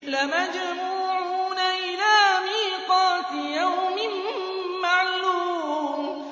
لَمَجْمُوعُونَ إِلَىٰ مِيقَاتِ يَوْمٍ مَّعْلُومٍ